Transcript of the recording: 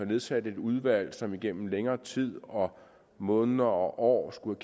nedsat et udvalg som igennem længere tid måneder og år skulle